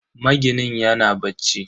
Maginin yana bacci.